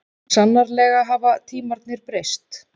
Sannarlega hafa tímarnir breyst.